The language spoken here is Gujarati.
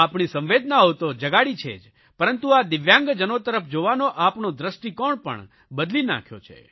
આપણી સંવેદનાઓ તો જગાડી છે જ પરંતુ આ દિવ્યાંગજનો તરફ જોવાનો આપણો દ્રષ્ટિકોણ પણ બદલી નાખ્યો છે